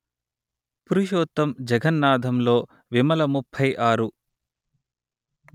పురుషోత్తం జగన్నాధంలో విమల ముప్పై ఆరు